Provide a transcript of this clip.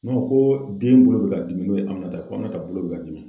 ko den bolo bɛ ka dimi n'o ye Aminata ko Aminata bolo bɛ k'a dimi.